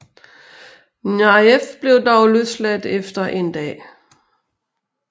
Nayef blev dog løsladt efter en dag